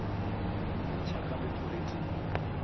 go mmintšha ka leoto le